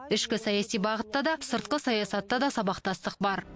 ішкі саяси бағытта да сыртқы саясатта да сабақтастық бар